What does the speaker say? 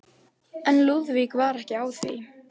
En Lúðvík var ekki á því.